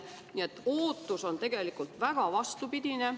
Nii et ootus on tegelikult väga vastupidine.